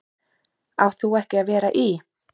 Átt þú ekki að vera í.-?